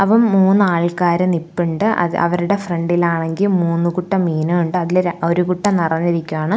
അവ മൂന്ന് ആൾക്കാർ നിൽപ്പുണ്ട് അത് അവരുടെ ഫ്രണ്ടിലാണെങ്കിൽ മൂന്ന് കുട്ട മീനുണ്ട് അതിൽ ര ഒരു കുട്ട നിറഞ്ഞിരിക്കുകയാണ്.